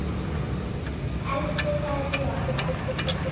Elsku Helgi okkar.